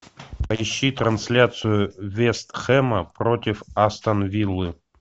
поищи трансляцию вест хэма против астон виллы